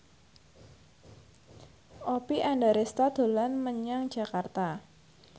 Oppie Andaresta dolan menyang Jakarta